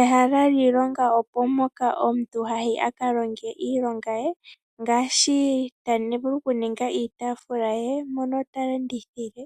Ehala lyiilonga opo mpoka omuntu hayi akalonge iilonga ye. Ngaashi tavulu okuninga iitaafula ye mpono talandithile